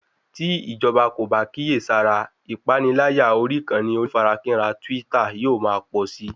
Tí ìjọba kò bá kíyèsára ìpaniláyà orí ìkànnì onífarakínra twitter yóò ma pọ̀si